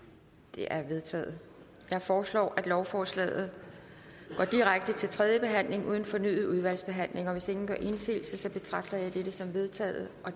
de er vedtaget jeg foreslår at lovforslaget går direkte til tredje behandling uden fornyet udvalgsbehandling hvis ingen gør indsigelse betragter jeg dette som vedtaget